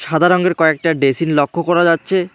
সাদা রঙ্গের কয়েকটা ডেসিন লক্ষ করা যাচ্ছে।